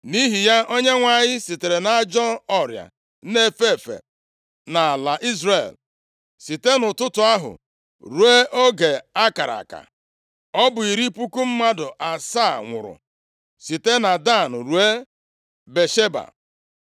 Nʼihi ya, Onyenwe anyị zitere ajọ ọrịa na-efe efe nʼala Izrel, site nʼụtụtụ ahụ ruo oge akara aka. Ọ bụ iri puku mmadụ asaa nwụrụ site na Dan ruo Bịasheba.